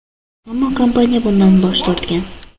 Ammo kompaniya bundan bosh tortgan.